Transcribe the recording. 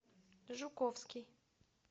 жуковский